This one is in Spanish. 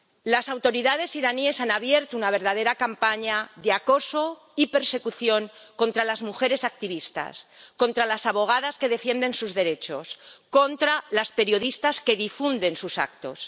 Las autoridades iraníes han abierto una verdadera campaña de acoso y persecución contra las mujeres activistas, contra las abogadas que defienden sus derechos, contra las periodistas que difunden sus actos.